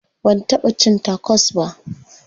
Ban taɓa cin tacos ba.